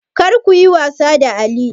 Kar kuyi wasa da alli!